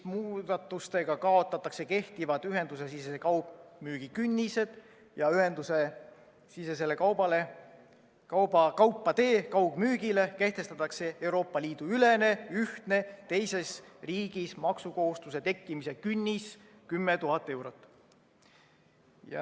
Muudatustega kaotatakse kehtivad ühendusesisese kaugmüügi künnised ja ühendusesisesele kaupade kaugmüügile kehtestatakse Euroopa Liidu ülene ühtne teises riigis maksukohustuse tekkimise künnis 10 000 eurot.